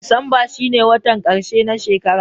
Disamba shine watan ƙarshe na shekara.